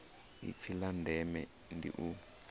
ipfi la ndeme ndi u